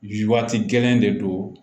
E waati gɛlɛn de don